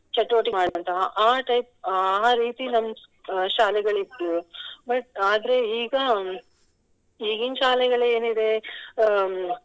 ಚಟುವಟಿಕೆ ಆ type ಆ ರೀತಿ ನಮ್ ಶಾಲೆಗಳಿತ್ತು but ಆದ್ರೆ ಈಗ ಈಗಿನ್ ಶಾಲೆಗಳ್ ಏನಿದೆ ಅಹ್